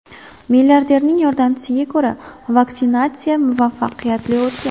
Milliarderning yordamchisiga ko‘ra, vaksinatsiya muvaffaqiyatli o‘tgan.